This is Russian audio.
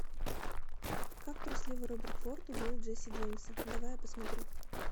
как трусливый роберт форд убил джесси джеймса давай я посмотрю